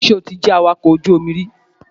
Ṣé o ti jẹ́ awakọ̀ ojú omi rí?